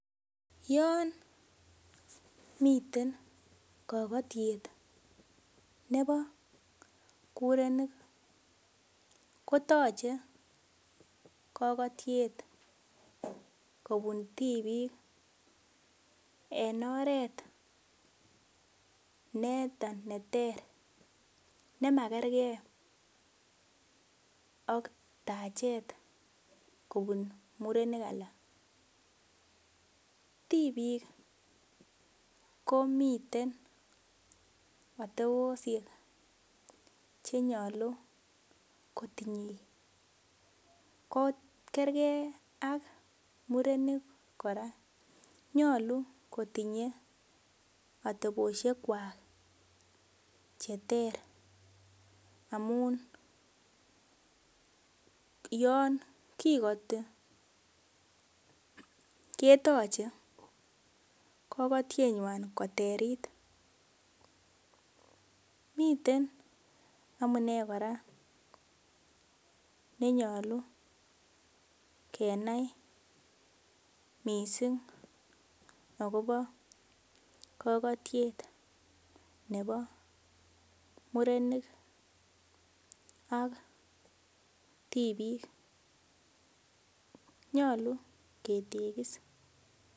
Yon miten kokotiet nebo mirenik kotoche kokotiet en oret noton neter nemakerker ak tachet kobun murenik alak, tibik komiten oteboshek chenyolu kotinye kokerker ak murenik koraa nyolu kotinye oteboshekwak cheter amun yon kikoti ketoche kokotienywan koterit, miten amune koraa nenyolu kenai missing' akobo kokotiet nebo murenik ok tibik nyolu ketekis.